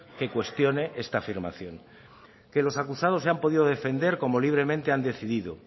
que cuestione esta afirmación que los acusados se han podido defender como libremente han decidido